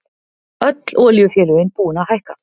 Öll olíufélögin búin að hækka